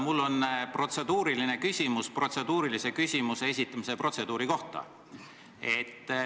Mul on protseduuriline küsimus protseduurilise küsimuse esitamise protseduuri kohta.